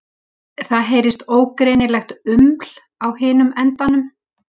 Það heyrist ógreinilegt uml á hinum endanum.